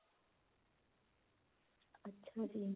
ਅੱਛਾ ਜੀ